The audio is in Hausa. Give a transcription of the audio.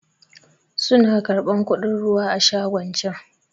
Su na karɓan kuɗin ruwa a shagon can